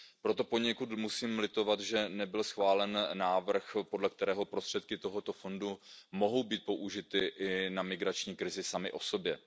Proto musím poněkud litovat, že nebyl schválen návrh, podle kterého prostředky tohoto fondu mohou být použity i na migrační krizi samy o sobě.